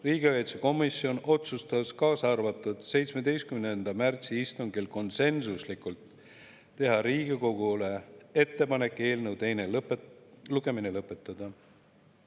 Riigikaitsekomisjon otsustas käesoleva aasta 17. märtsi istungil konsensuslikult, et tehakse Riigikogule ettepanek eelnõu teine lugemine lõpetada.